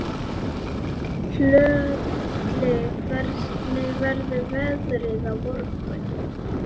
Hlölli, hvernig verður veðrið á morgun?